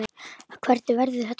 Hvernig verður þetta, Sif?